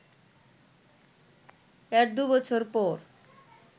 এর দু’বছর পর